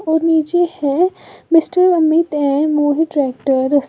और नीचे है मिस्टर अमित ए मोहित ट्रैक्टर --